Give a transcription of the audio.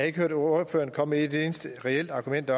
ikke hørt ordføreren komme med et eneste reelt argument